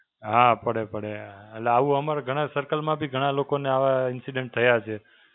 હાં પડે પડે. એટલે આવું અમારા ઘણા circle માં બી ઘણા લોકોને આવા Incident થયા છે.